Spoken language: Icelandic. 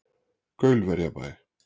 Gaulverjabæ